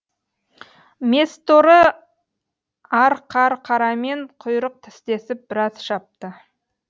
месторы арқарқарамен құйрық тістесіп біраз шапты